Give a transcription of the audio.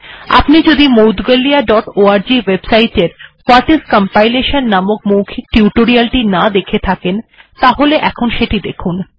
আপনি যদি Moudgalya dot org website এর ভাট আইএস কম্পাইলেশন নামক মৌখিক টিউটোরিয়াল টি না দেখে থাকেন তাহলে এখন সেটি দেখুন